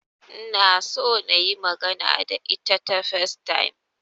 Ina so nayi magana da ita ta Facetime